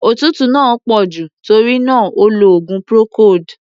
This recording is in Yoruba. Òtútú náà pọ̀ jù, tórí náà, ó lo oògùn procold.